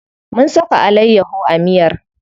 Mun saka alayyaho a miyar.